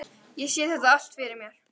Ég sé þetta allt fyrir mér.